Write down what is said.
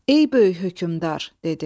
Ey böyük hökmdar, dedi.